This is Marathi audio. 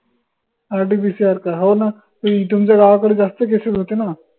RTPCR हो ना तुमच्या तुमच्या गावाकडे जास्त cases होते ना